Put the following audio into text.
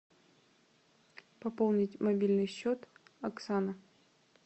пополнить мобильный счет оксана